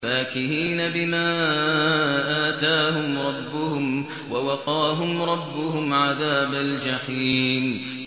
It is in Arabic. فَاكِهِينَ بِمَا آتَاهُمْ رَبُّهُمْ وَوَقَاهُمْ رَبُّهُمْ عَذَابَ الْجَحِيمِ